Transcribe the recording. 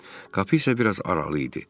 Qapı isə biraz aralı idi.